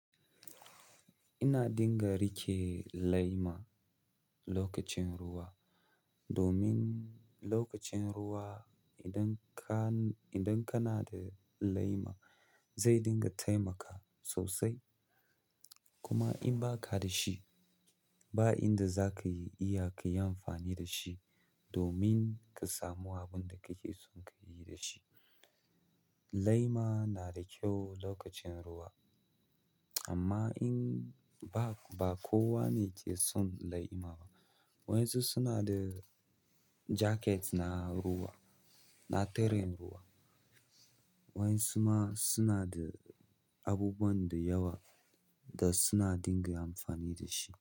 Ina dunga riƙe lema lakacin ruwa, domin lokacin ruwa idan ka yi, idan kana. Zai dunga taimaka kuma in ba ka da shi ba, inda za ka yi iya ka yi amfani da shi domin ka samu abin da kake son ka yi da shi. Lema na da kyau lokacin ruwa, amma in ba, ba kowa ne ke son lema ba. Wasu suna da jaket na ruwa, na tare ruwa, waƴan suma suna da abubuwan da yawa dasu na dunga amfani dashi.